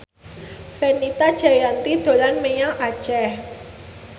Fenita Jayanti dolan menyang Aceh